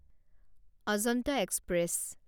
Ajanta express